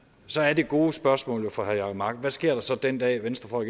så er det gode spørgsmål jo fra herre jacob mark hvad sker der så den dag venstre